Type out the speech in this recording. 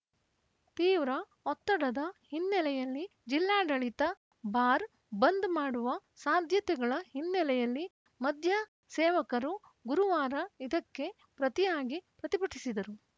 ತೀವ್ರ ಒತ್ತಡದ ಹಿನ್ನೆಲೆಯಲ್ಲಿ ಜಿಲ್ಲಾಡಳಿತ ಬಾರ್‌ ಬಂದ್‌ ಮಾಡುವ ಸಾಧ್ಯತೆಗಳ ಹಿನ್ನೆಲೆಯಲ್ಲಿ ಮದ್ಯ ಸೇವಕರು ಗುರುವಾರ ಇದಕ್ಕೆ ಪ್ರತಿಯಾಗಿ ಪ್ರತಿಭಟಿಸಿದರು